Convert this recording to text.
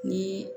Ni